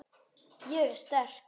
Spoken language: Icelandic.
Ég er sterk.